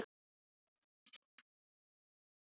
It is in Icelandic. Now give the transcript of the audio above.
En mamma!